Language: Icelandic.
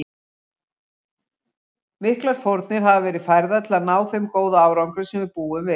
Miklar fórnir hafa verið færðar til að ná þeim góða árangri sem við búum við.